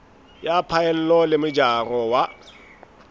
ya phaello le mojaro wa